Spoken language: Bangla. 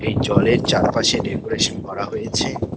জলের চারপাশে ডেকোরেশন করা হয়েছে।